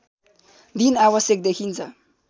दिन आवश्यक देखिन्छ